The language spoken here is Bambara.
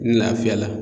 N lafiya la